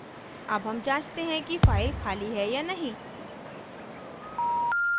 अब हम जांचते हैं कि फाइल खाली है या नहीं